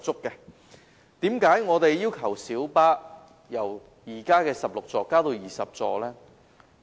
為何我們要求小巴由現時的16個座位增至20個座位？